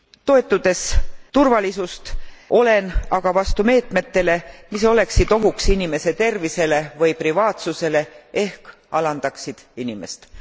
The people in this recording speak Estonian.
Toetades turvalisust, olen aga vastu meetmetele, mis oleksid ohuks inimese tervisele või privaatsusele ehk alandaksid inimest.